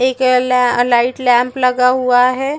एक एला light lamp लगा हुआ है।